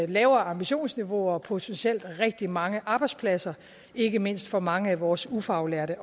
lavere ambitionsniveau og potentielt rigtig mange arbejdspladser ikke mindst for mange af vores ufaglærte